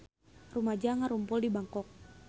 Rumaja ngarumpul di Bangkok